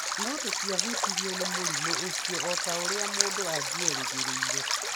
No tũtiahutirio nĩ mũrimũ ũcio o ta ũrĩa mũndũ angĩerĩgĩrĩra.